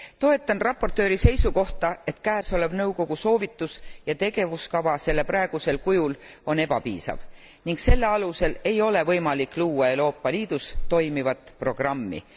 Toetan raportööri seisukohta, et käesolev nõukogu soovitus ja tegevuskava sellel praegusel kujul on ebapiisav ning selle alusel ei ole võimalik luua Euroopa Liidus toimivat programmi.